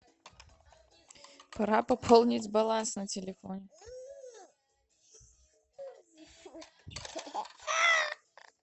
пора пополнить баланс на телефоне